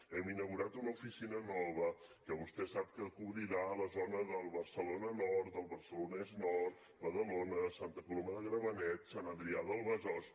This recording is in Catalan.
hem inaugurat una oficina nova que vostè sap que cobrirà la zona de barcelona nord del barcelonès nord badalona santa coloma de gramenet sant adrià del besòs